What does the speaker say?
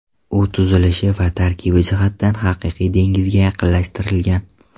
U tuzilishi va tarkibi jihatdan haqiqiy dengizga yaqinlashtirilgan.